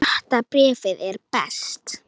Sjötta bréfið er best.